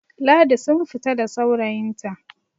Ladi sun fita da saurayinta